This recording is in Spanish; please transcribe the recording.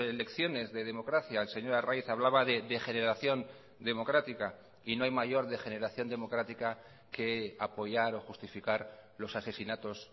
lecciones de democracia el señor arraiz hablaba de degeneración democrática y no hay mayor degeneración democrática que apoyar o justificar los asesinatos